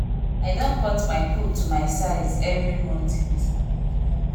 i don cut my coat to my size every month e get wetin i wan meet my goal this year